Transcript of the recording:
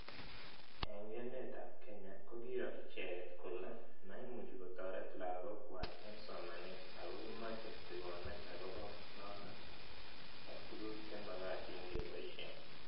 Eng' emet ab Kenya ko kiiro ichet kole maimuchi kotaret lakok kwai eng' somanet ako kimache tikonet akopo notok ak tuguk che magatin kepoishe